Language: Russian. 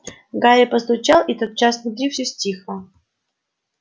гарри постучал и тотчас внутри всё стихло